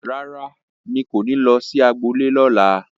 Rárá, n kò ní lọ sí agbo ilé ní ọ̀la